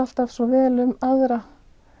alltaf svo vel um aðra